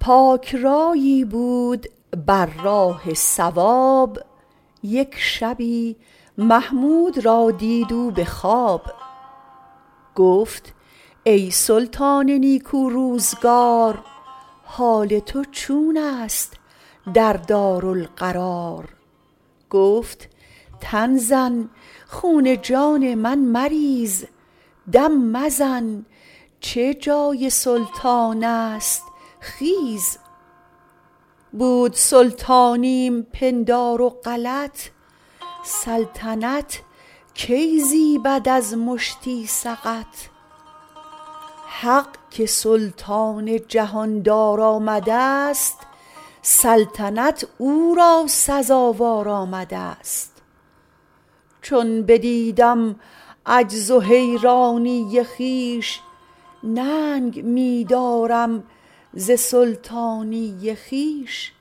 پاک رأیی بود بر راه صواب یک شبی محمود را دید او به خواب گفت ای سلطان نیکو روزگار حال تو چون است در دارالقرار گفت تن زن خون جان من مریز دم مزن چه جای سلطان است خیز بود سلطانیم پندار و غلط سلطنت کی زیبد از مشتی سقط حق که سلطان جهان دار آمدست سلطنت او را سزاوار آمدست چون بدیدم عجز و حیرانی خویش ننگ می دارم ز سلطانی خویش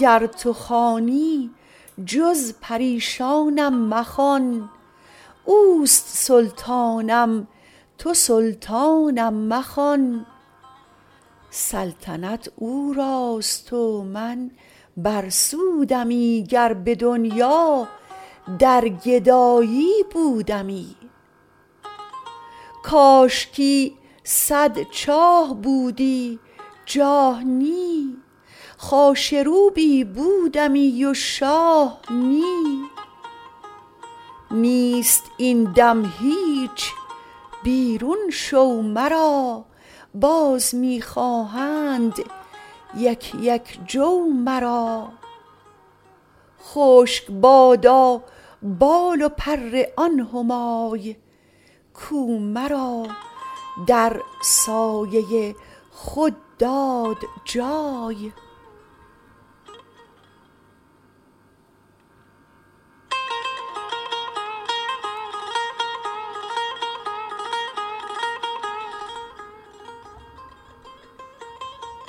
گر تو خوانی جز پریشانم مخوان اوست سلطانم تو سلطانم مخوان سلطنت او راست و من بر سودمی گر به دنیا در گدایی بودمی کاشکی صد چاه بودی جاه نی خاشه روبی بودمی و شاه نی نیست این دم هیچ بیرون شو مرا باز می خواهند یک یک جو مرا خشک بادا بال و پر آن همای کو مرا در سایه خود داد جای